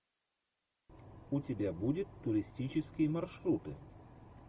у тебя будет туристические маршруты